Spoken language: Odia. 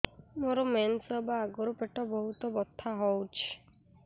ମୋର ମେନ୍ସେସ ହବା ଆଗରୁ ପେଟ ବହୁତ ବଥା ହଉଚି